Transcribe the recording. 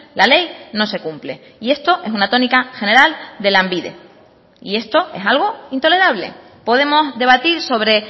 la ley no se cumple y esto es una tónica general de lanbide y esto es algo intolerable podemos debatir sobre